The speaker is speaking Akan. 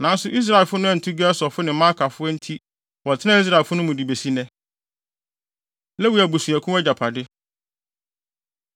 Nanso Israelfo no antu Gesurfo ne Maakafo enti wɔtenaa Israelfo no mu de besi nnɛ. Lewi Abusuakuw Agyapade